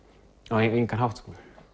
á engan hátt